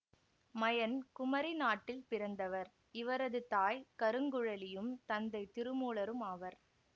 மயன் குமரி நாட்டில் பிறந்தவர் இவரது தாய் கருங்குழலியும் தந்தை திருமூலரும் ஆவர்